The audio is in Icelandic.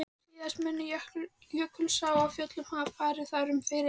Síðast mun Jökulsá á Fjöllum hafa farið þar um fyrir